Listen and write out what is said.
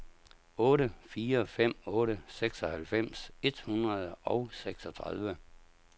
otte fire fem otte seksoghalvfems et hundrede og seksogtredive